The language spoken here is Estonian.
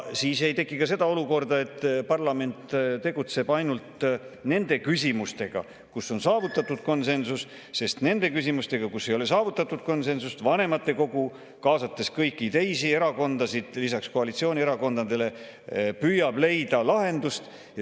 Siis ei teki ka seda olukorda, et parlament tegeleb ainult nende küsimustega, kus on saavutatud konsensus, sest nende küsimuste puhul, kus ei ole saavutatud konsensust, vanematekogu, kaasates kõiki teisi erakondasid lisaks koalitsioonierakondadele, püüab leida lahendust.